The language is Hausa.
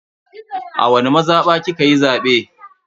A wani mazaba kikayi zabe?